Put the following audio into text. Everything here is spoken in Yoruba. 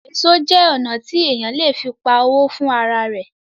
Èso jẹ́ ọnà tí èèyàn le fi pa owó fún ara rẹ̀